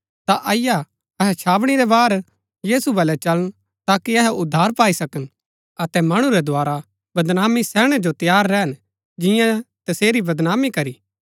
ता अईआ अहै छावनी रै बाहर यीशु वलै चलन ताकि अहै उद्धार पाई सकन अतै मणु रै द्धारा बदनामी सैहणै जो तैयार रैहन जियां तसेरी बदनामी करी